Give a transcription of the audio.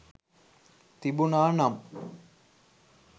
තිබුණා නම්